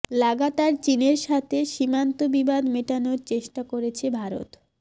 লাগাতার চিনের সাথে সীমান্ত বিবাদ মেটানোর চেষ্টা করছে ভারত